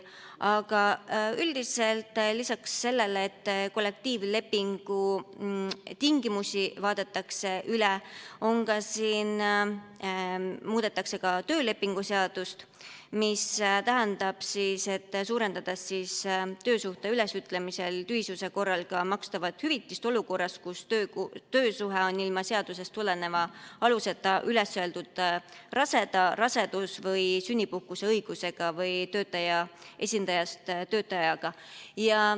Aga üldiselt lisaks sellele, et kollektiivlepingu tingimusi vaadatakse üle, muudetakse ka töölepingu seadust, mis tähendab, et töösuhte ülesütlemise tühisuse korral suurendatakse makstavat hüvitist olukorras, kus ilma seadusest tuleneva aluseta on üles öeldud töösuhe raseda, rasedus‑ või sünnipuhkuse õigusega või töötajate esindajast töötajaga.